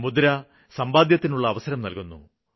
മുദ്ര സമ്പാദ്യത്തിനുള്ള അവസരം നല്കുന്നു